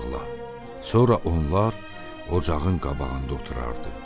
Sonra onlar ocağın qabağında oturardı.